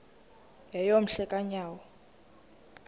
yeyom hle kanyawo